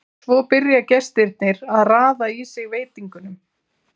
Svo byrja gestirnir að raða í sig veitingunum.